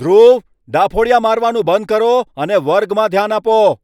ધ્રુવ, ડાફોડીયા મારવાનું બંધ કરો અને વર્ગમાં ધ્યાન આપો!